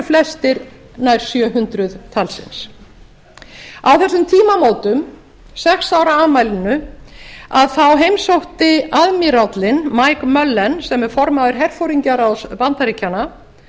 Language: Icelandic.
flestir nær sjö hundruð talsins á þessum tímamótum sex ára afmælinu þá heimsótti aðmírállinn mike mullen sem er formaður herforingjaráðs bandaríkjanna